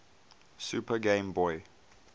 super game boy